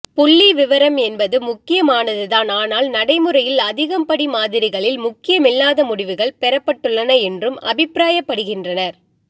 புள்ளிவிவரம் என்பது முக்கியமானதுதான் ஆனால் நடைமுறையில் அதிகம் படி மாதிரிகளில் முக்கியமில்லாத முடிவுகள் பெறப்பட்டுள்ளன என்றும் அபிப்பிராயப் படுகின்றனர்